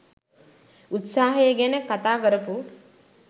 උත්සාහය ගැන කතා කරපු